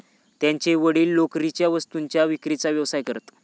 त्यांचे वडील लोकरीच्या वस्तूंच्या विक्रीचा व्यवसाय करीत.